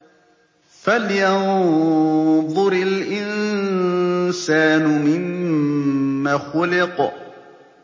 فَلْيَنظُرِ الْإِنسَانُ مِمَّ خُلِقَ